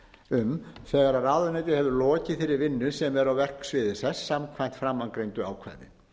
um þegar ráðuneytið hefur lokið þeirri vinnu sem er á verksviði þess samkvæmt framangreindu ákvæði